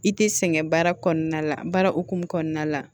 I tɛ sɛgɛn baara kɔnɔna la baara hokumu kɔnɔna la